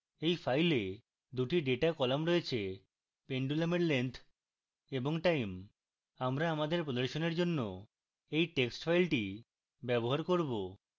এই file 2 time data column রয়েছে pendulum এর length এবং time